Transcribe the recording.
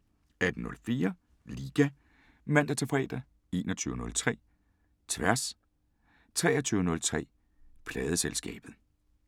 18:04: Liga (man-fre) 21:03: Tværs 23:03: Pladeselskabet